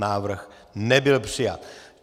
Návrh nebyl přijat.